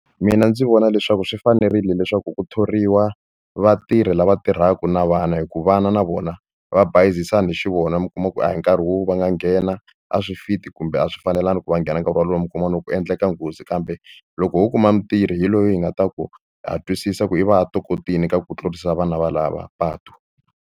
Mina ndzi vona leswaku swi fanerile leswaku ku thoriwa vatirhi lava tirhaka na vana hikuva vana na vona va bayizisana hi xivona mi kuma ku a hi nkarhi wo va nga nghena a swi fit kumbe a swi fanelangi ku va nghena hi nkarhi walowo mi kuma loko ku endleka nghozi kambe loko ho kuma mutirho hi loyi hi nga ta ku ha twisisa ku i va a tokotile ka ku tlurisa vana valava patu.